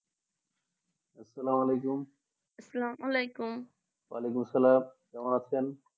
আসসালামালাইকুম আসসালামালাইকুম অলাইকুম আসসালাম কেমন আছেন